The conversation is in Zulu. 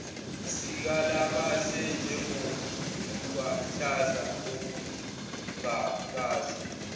sikalabase njengobuluhlaza obungakaze